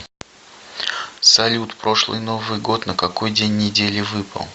салют прошлый новый год на какой день недели выпал